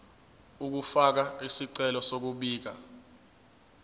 ukufaka isicelo sokubika